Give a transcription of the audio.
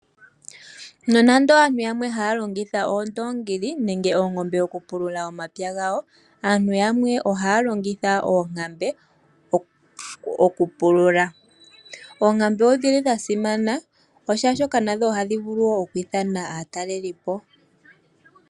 Nonando aantu yamwe haya longitha oondoongi nenge oongombe okupulula omapya gawo aantu yamwe ohaya longitha oonkambe okupulula . Oonkambe odhili dha simana oshoka nadho ohadhi vulu woo okwiithana aatalelipo.